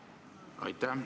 Aitäh!